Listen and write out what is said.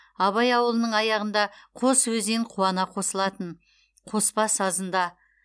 абай ауылының аяғында қос өзен қуана қосылатын қоспа сазында